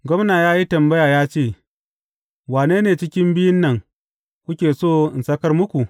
Gwamna ya yi tambaya ya ce, Wane ne cikin biyun nan, kuke so in sakar muku?